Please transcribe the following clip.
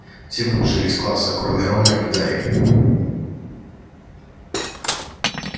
все выбежали из класса кроме рона и гарри